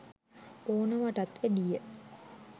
ඕනවටත් වැඩිය.